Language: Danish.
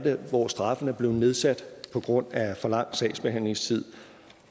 hvor straffen er blevet nedsat på grund af for lang sagsbehandlingstid